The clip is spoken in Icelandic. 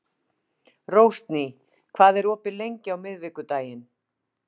Rósný, hvað er opið lengi á miðvikudaginn?